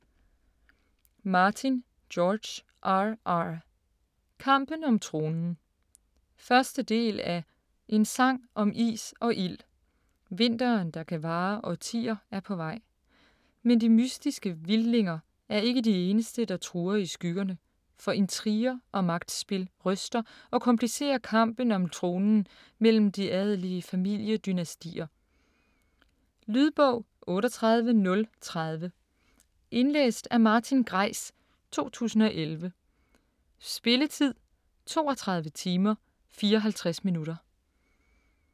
Martin, George R. R.: Kampen om tronen 1. del af En sang om is og ild. Vinteren der kan vare årtier er på vej - men de mystiske Vildlinger er ikke de eneste, der truer i skyggerne, for intriger og magtspil ryster og komplicerer kampen om tronen mellem de adelige familiedynastier. Lydbog 38030 Indlæst af Martin Greis, 2011. Spilletid: 32 timer, 54 minutter.